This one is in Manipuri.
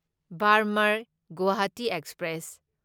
ꯕꯥꯔꯃꯔ ꯒꯨꯋꯥꯍꯥꯇꯤ ꯑꯦꯛꯁꯄ꯭ꯔꯦꯁ